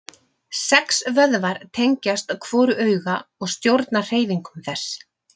Sex vöðvar tengjast hvoru auga og stjórna hreyfingum þess.